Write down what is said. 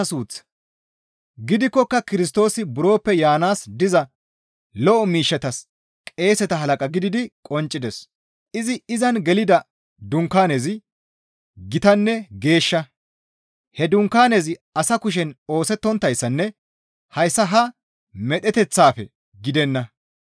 Gidikkoka Kirstoosi buroppe yaanaas diza lo7o miishshatas qeeseta halaqa gididi qonccides; izi izan gelida dunkaanezi gitanne geeshsha; he dunkaanezi asa kushen oosettonttayssanne hayssa ha medheteththaafe gidenna.